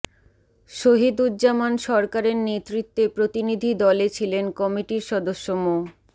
শহীদুজ্জামান সরকারের নেতৃত্বে প্রতিনিধি দলে ছিলেন কমিটির সদস্য মো